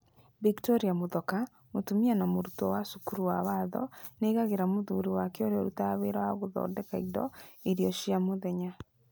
Bictoria Muthoka, mũtumia na mũrutwo wa cukuru wa watho, nĩ aigagĩra mũthuri wake urĩa ũrutaga wĩra wa gũthondeka indo irio cia muthenya.